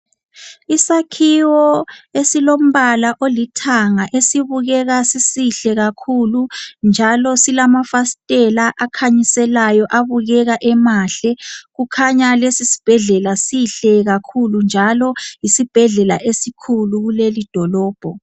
Isakhiwo esilompala olithanga esibukeka sisihle kakhulu njalo silamafastela akhanyiselayo abukeka emahle kukhanya lesi sibhedlela sihle kakhulu njalo yisibhedlela esikhulu kulelidolobho.